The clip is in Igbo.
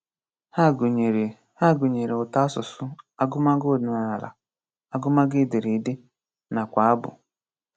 Hà gụ̀nyèrè Hà gụ̀nyèrè ùtòasụ̀sụ́, àgụmagụ̀ ọ̀dị́nàlá, àgụmagụ̀ édèrèdé, nakwa àbù.